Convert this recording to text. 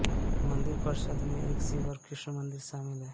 मंदिर परिसर में एक शिव और कृष्ण मंदिर शामिल हैं